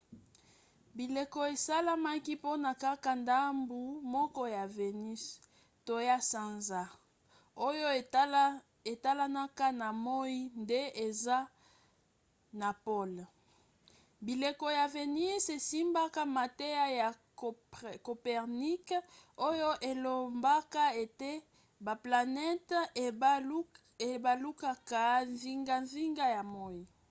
bileko esalemaka mpona kaka ndambu moko ya vénus to ya sanza oyo etalanaka na moi nde eza na pole. bileko ya vénus esimbaka mateya ya copernic oyo elobaka ete baplanete ebalukaka zingazinga ya moi